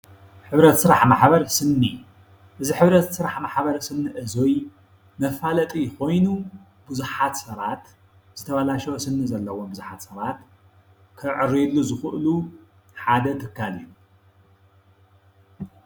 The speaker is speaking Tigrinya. ሕብረት ስራሕ ማሕበር ስኒ እዚ ሕብረት ስራሕ ማሕበር ስኒ እዚ መፋለጢ ኮይኑ ብዙሓት ሰባት ዝተባላሸወ ስኒ ዘለዎም ብዙሓት ሰባት ክዕርዩሉ ዝኽእሉ ሓደ ትካል እዩ።